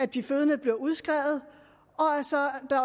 de fødende bliver udskrevet